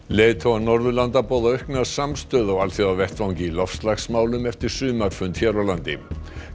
leiðtogar Norðurlanda boða aukna samstöðu á alþjóðavettvangi í loftslagsmálum eftir sumarfund hér á landi